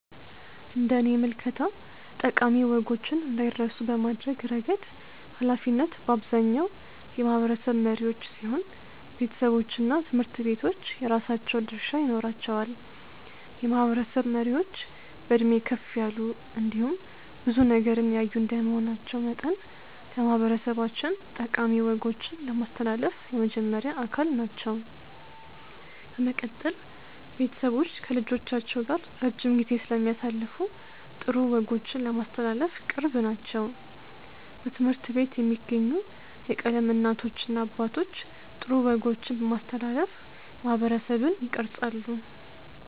እንደኔ ምልከታ ጠቃሚ ወጎችን እንዳይረሱ በማድረግ እረገድ ሀላፊነት በአብዛኛው የማህበረሰብ መሪዎች ሲሆኑ ቤተሰቦችና ትምህርት ቤቶች የራሳቸው ድርሻ ይኖራቸዋል። የማህበረሰብ መሪዎች በዕድሜ ከፍ ያሉ እንዲሁም ብዙ ነገርን ያዩ እንደመሆናቸው መጠን ለማህበረሰባችን ጠቃሚ ወጎችን ለማስተላለፍ የመጀመሪያ አካል ናቸው። በመቀጠል ቤተሰቦች ከልጆቻቸው ጋር ረጅም ጊዜ ስለሚያሳልፉ ጥሩ ወጎችን ለማስተላለፍ ቅርብ ናቸው። በትምህርት ቤት የሚገኙ የቀለም እናቶችና አባቶች ጥሩ ወጎችን በማስተላለፍ ማህበረሰብን ይቀርፃሉ።